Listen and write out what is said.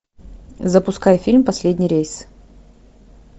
запускай фильм последний рейс